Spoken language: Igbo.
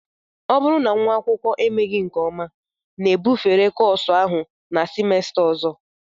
Ọ bụrụ na nwa akwụkwọ emeghị nke ọma na-ebufere kọọsụ ahụ na simesta ọzọ